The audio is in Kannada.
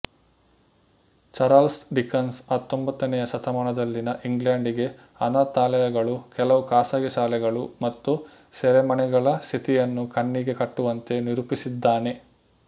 ಚಾರಲ್ಸ್ ಡಿಕನ್ಸ್ ಹತ್ತೊಂಬತ್ತನೆಯ ಶತಮಾನದಲ್ಲಿನ ಇಂಗ್ಲೆಂಡಿಗೆ ಅನಾಥಾಲಯಗಳು ಕೆಲವು ಖಾಸಗಿ ಶಾಲೆಗಳು ಮತ್ತು ಸೆರೆಮನೆಗಳ ಸ್ಥಿತಿಯನ್ನು ಕಣ್ಣಿಗೆ ಕಟ್ಟುವಂತೆ ನಿರೂಪಿಸಿದ್ದಾನೆ